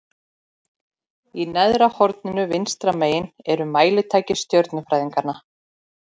Í neðra horninu vinstra megin eru mælitæki stjörnufræðinganna.